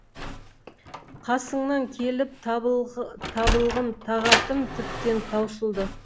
қасыңнан келіп табылғым тағатым тіптен таусылды